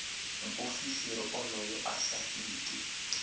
muofisiri onoyo a sa iti